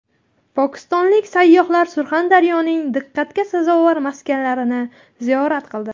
Pokistonlik sayyohlar Surxondaryoning diqqatga sazovor maskanlarini ziyorat qildi .